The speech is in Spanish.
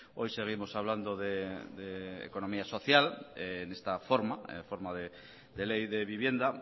hoy seguimos hablando de economía social en esta forma forma de ley de vivienda